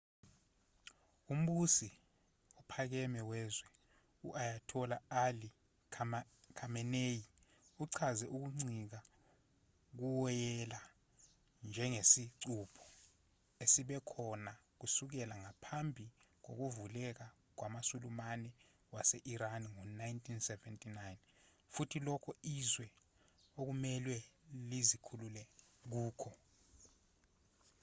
umbusi ophakeme wezwe u-ayatollah ali khamenei uchaze ukuncika kuwoyela njengesicupho esibe khona kusukela ngaphambi kokuvukela kwamasulumane wase-iran ngo-1979 futhi lokho izwe okumelwe lizikhulule kukho